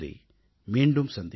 மீண்டும் சந்திப்போம்